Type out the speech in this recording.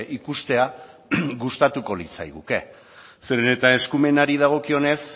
ikustea gustatuko litzaiguke zeren eta eskumenari dagokionez